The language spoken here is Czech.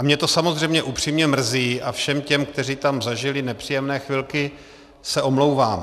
A mě to samozřejmě upřímně mrzí a všem těm, kteří tam zažili nepříjemné chvilky, se omlouvám.